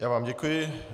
Já vám děkuji.